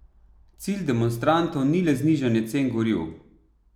Cilj demonstrantov ni le znižanje cen goriv.